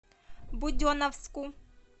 буденновску